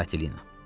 Katelina.